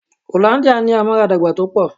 Hollandia ní amaradagba tó pọ̀.